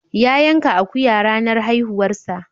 Ya yanka akuya ranar haihuwarsa.